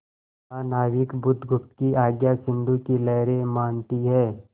महानाविक बुधगुप्त की आज्ञा सिंधु की लहरें मानती हैं